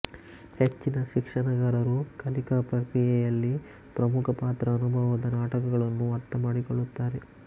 ಹೆಚ್ಚಿನ ಶಿಕ್ಷಣಗಾರರು ಕಲಿಕಾ ಪ್ರಕ್ರಿಯೆಯಲ್ಲಿ ಪ್ರಮುಖ ಪಾತ್ರ ಅನುಭವದ ನಾಟಕಗಳನ್ನು ಅರ್ಥಮಾಡಿಕೊಳ್ಳುತ್ತಾರೆ